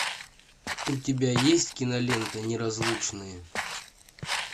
у тебя есть кинолента неразлучные